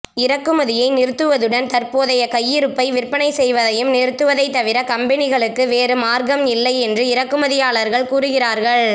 இறக்குமதியை நிறுத்துவதுடன் தற்போதைய கையிருப்பை விற்பனை செய்வதையும் நிறுத்துவதைத் தவிர கம்பனிகளுக்கு வேறு மார்க்கம் இல்லை என்று இறக்குமதியாளர்கள் கூறுகிறார்கள்